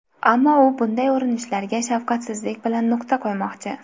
Ammo u bunday urinishlarga shafqatsizlik bilan nuqta qo‘ymoqchi.